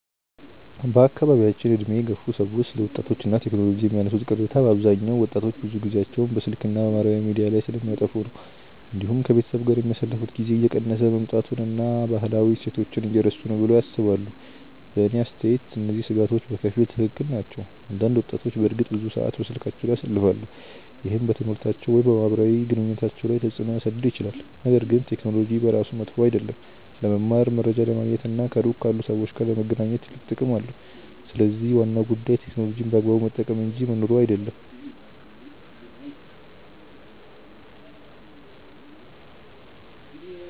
በአካባቢያችን ዕድሜ የገፉ ሰዎች ስለ ወጣቶች እና ቴክኖሎጂ የሚያነሱት ቅሬታ በአብዛኛው ወጣቶች ብዙ ጊዜያቸውን በስልክ እና በማህበራዊ ሚዲያ ላይ እንደሚያጠፉ ነው። እንዲሁም ከቤተሰብ ጋር የሚያሳልፉት ጊዜ እየቀነሰ መምጣቱን እና ባህላዊ እሴቶችን እየረሱ ነው ብለው ያስባሉ። በእኔ አስተያየት እነዚህ ስጋቶች በከፊል ትክክል ናቸው። አንዳንድ ወጣቶች በእርግጥ ብዙ ሰዓት በስልካቸው ላይ ያሳልፋሉ፣ ይህም በትምህርታቸው ወይም በማህበራዊ ግንኙነታቸው ላይ ተጽእኖ ሊያሳድር ይችላል። ነገር ግን ቴክኖሎጂ በራሱ መጥፎ አይደለም። ለመማር፣ መረጃ ለማግኘት እና ከሩቅ ካሉ ሰዎች ጋር ለመገናኘት ትልቅ ጥቅም አለው። ስለዚህ ዋናው ጉዳይ ቴክኖሎጂን በአግባቡ መጠቀም እንጂ መኖሩ አይደለም።